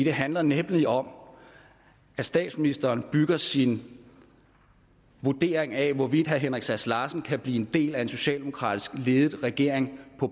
handler nemlig om at statsministeren bygger sin vurdering af hvorvidt herre henrik sass larsen kan blive en del af en socialdemokratisk ledet regering på